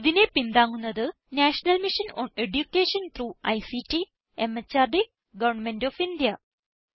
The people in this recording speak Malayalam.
ഇതിനെ പിന്താങ്ങുന്നത് national mission on education through ICT MHRD government of India